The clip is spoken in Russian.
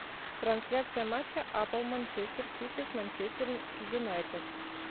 трансляция матча апл манчестер сити с манчестер юнайтед